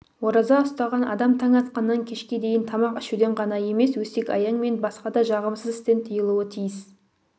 ораза ұстаған адам таң атқаннан кешке дейін тамақ ішуден ғана емес өсек-аяң мен басқа да жағымсыз істен тыйылуы тиіс